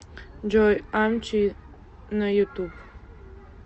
джой амчи на ютуб